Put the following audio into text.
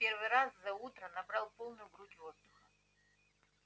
в первый раз за утро набрал полную грудь воздуха